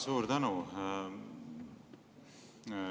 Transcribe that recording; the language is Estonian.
Suur tänu!